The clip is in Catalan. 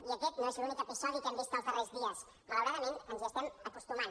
i aquest no és l’únic episodi que hem vist els darrers dies malauradament ens hi estem acostumant